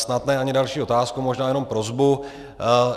Snad ne ani další otázku, možná jenom prosbu.